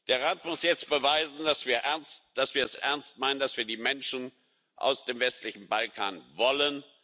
Der Rat muss jetzt beweisen, dass wir es ernst meinen, dass wir die Menschen aus dem westlichen Balkan wollen.